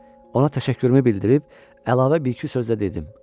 Ona təşəkkürümü bildirib əlavə bir-iki sözlə dedim.